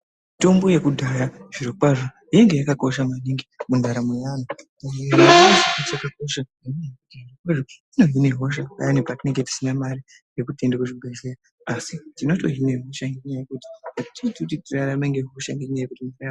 Tombo yekudhaya zviro kwazvo yaive yakakosha maningi mundaramo yaantu eya yainge yakakosha ngenyaya yekuti inohine hosha payani patinenge tisina mare yekuti tiende kuzvibhedhlera asi tinotohine hosha ngenyaya yekuti azviiti kuti tirarame ngehosha ngenyaya yekuti mva.